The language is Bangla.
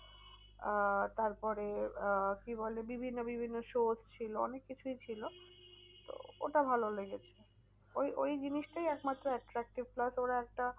আহ তারপরে আহ কি বলে বিভিন্ন বিভিন্ন shows ছিল অনেক কিছুই ছিল। তো ওটা ভালো লেগেছে। ওই ওই জিনিসটাই এক মাত্র attractive plus ওরা একটা